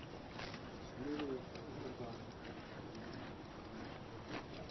Shinnidu waxay u baahan tahay kormeer caafimaad oo joogto ah.